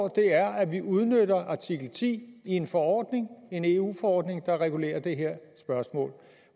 er at vi udnytter artikel ti i en forordning en eu forordning der regulerer det her spørgsmål